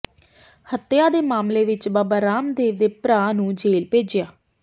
ਹੱਤਿਆ ਦੇ ਮਾਮਲੇ ਵਿਚ ਬਾਬਾ ਰਾਮਦੇਵ ਦੇ ਭਰਾ ਨੂੰ ਜੇਲ ਭੇਜਿਆ